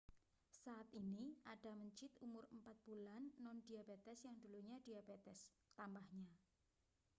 saat ini ada mencit umur 4 bulan nondiabetes yang dulunya diabetes tambahnya